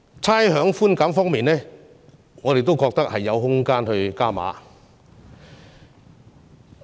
差餉寬減方面，我們也覺得有空間加碼。